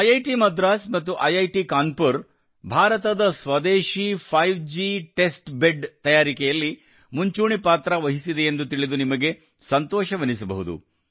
IIT Madras ಮತ್ತು IIT Kanpur ಭಾರತದ ಸ್ವದೇಶೀ 5ಜಿ ಟೆಸ್ಟ್ ಬೆಡ್ ತಯಾರಿಕೆಯಲ್ಲಿ ಮುಂಚೂಣಿ ಪಾತ್ರ ವಹಿಸಿದೆಯೆಂದು ತಿಳಿದು ನಿಮಗೆ ಸಂತೋಷವೆನಿಸಬಹುದು